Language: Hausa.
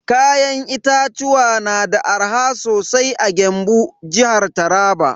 Kayan itatuwa na da arha sosai a Gembu, jihar Taraba.